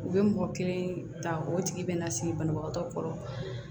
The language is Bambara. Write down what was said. U bɛ mɔgɔ kelen ta o tigi bɛ na sigi banabagatɔ kɔrɔ